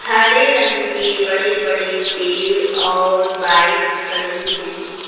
हरे रंग के बड़े बड़े पेड़ और बाइक खड़ी है।